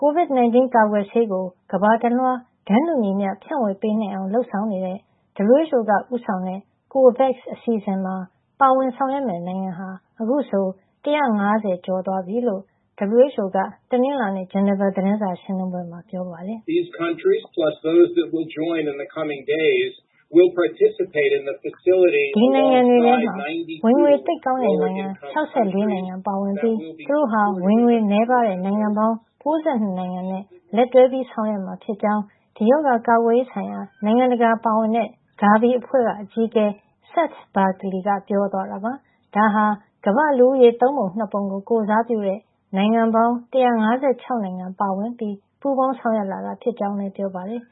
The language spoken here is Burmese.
COVID-19 ကာကွယ်ဆေးကို ကမ္ဘာတလွှား တန်းတူညီမ ျှ ဖြန့်ဝေပေးနိုင်ဖို့ လုပ်ဆောင်နေတဲ့ WHO က ဦးဆောင်တဲ့ COVAX အစီအစဉ်မှာ ပါဝင်ဆောင်ရွက်မယ့် နိုင်ငံတွေဟာ အခုဆို ၁၅၀ ကျော်သွားပြီလို့ WHO က တနင်္လာနေ့ ဂျနီဗာသတင်းစာရှင်းလင်းပွဲမှာ ပြောပါတယ်။ ဒီနိုင်ငံတွေထဲမှာ ဝင်ငွေသိပ်ကောင်းတဲ့ နိုင်ငံ ၆၄ နိုင်ငံပါဝင်ပြီး သူတို့ဟာ ဝင်ငွေနည်းပါးတဲ့ နိုင်ငံပေါင်း ၉၂ နိုင်ငံနဲ့ လက်တွဲဆောင်ရွက်မှာ ဖြစ်ကြောင်း ကိုဗစ်ရောဂါ ကာကွယ်ရေး ဆိုင်ရာ နိုင်ငံတကာ ပါဝင်တဲ့ GAVI အဖွဲ့ အကြီးအကဲ Seth Berkley က ဆိုပါတယ်။ ဒါဟာ ကမ္ဘာ့လူဦးရေ သုံးပုံ ၂ ပုံကို ကိုယ်စားပြုတဲ့ နိုင်ငံပေါင်း ၁၅၆ နိုင်ငံ ပါဝင်ပြီး ပူးပေါင်း ဆောင်ရွက်လာတာ ဖြစ်ကြောင်း လည်း ပြောပါတယ်